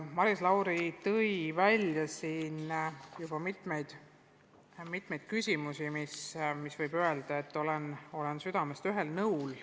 Maris Lauri tõi juba välja mitmeid küsimusi, millega ma olen südamest ühel nõul.